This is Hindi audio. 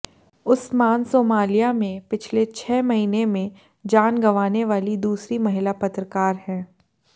उस्मान सोमालिया में पिछले छह महीने में जान गंवाने वाली दूसरी महिला पत्रकार हैं